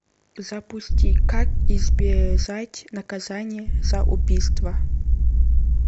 запусти как избежать наказания за убийство